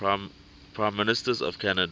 prime ministers of canada